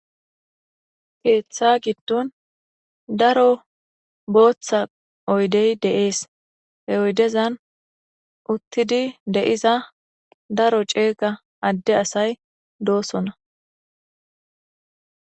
Keththa gidon daro booththa oyde de'ss. He oydezan uthidi de'zza cega adde assay dossona.